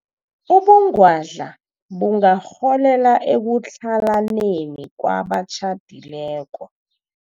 Ubungwadla bungarholela ekutlhalaneni kwabatjhadileko.